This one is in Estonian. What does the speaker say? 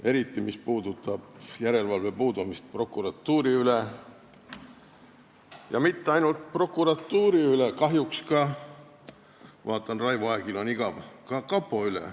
Eriti sellega, mis puudutab järelevalve puudumist prokuratuuri üle ja mitte ainult prokuratuuri üle, kahjuks – vaatan, et Raivo Aegil on igav – ka kapo üle.